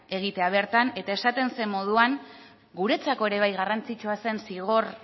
egitea bertan eta esaten zen moduan guretzako ere bai garrantzitsua zen zigor